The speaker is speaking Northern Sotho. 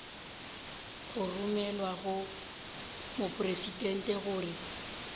go romelwa go mopresidente gore